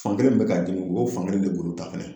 Fan kelen min bɛ k'a dimi u b'o fan kelen de golo ta fɛnɛ.